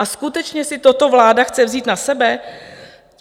A skutečně si toto vláda chce vzít na sebe?